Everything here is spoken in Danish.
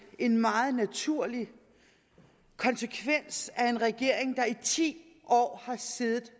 en meget naturlig konsekvens af en regering der i ti år har siddet